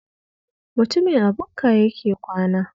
Mutumin a bukka yake kwana